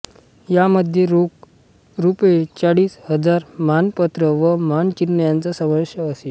यामध्ये रोख रूपये चाळीस हजार मानपत्र व मानचिन्ह यांचा सामावेश असे